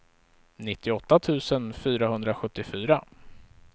nittioåtta tusen fyrahundrasjuttiofyra